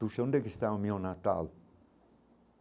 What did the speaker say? Tu sei onde que está o meu natal?